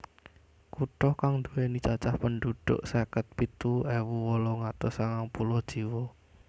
Kutha kang nduwèni cacah pendhudhuk seket pitu ewu wolung atus sangang puluh jiwa